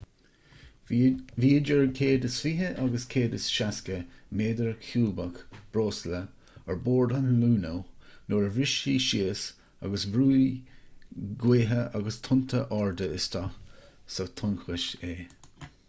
bhí 120-160 méadar ciúbach breosla ar bord an luno nuair a bhris sé síos agus bhrúigh gaotha agus tonnta arda isteach sa tonnchosc é